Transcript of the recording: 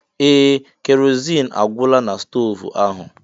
Ee! Keroziin agwụla na stoovu ahụ.